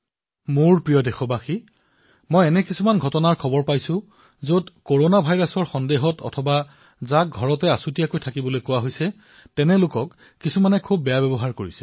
মোৰ মৰমৰ দেশবাসীসকল মই কিছুমান এনে ঘটনাৰ বিষয়ে জানিবলৈ পাইছো যত কৰনা ভাইৰাছত আক্ৰান্তসকলক অথবা যাক হোম কোৱাৰেণ্টাইনত থাকিবলৈ দিয়া হৈছে তেওঁলোকক কিছুমান লোকে দুৰ্ব্যৱহাৰ কৰিছে